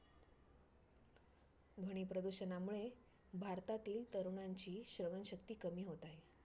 ध्वनी प्रदूषणामुळे भारतातील तरुणांची सहनशक्ती कमी होत आहे.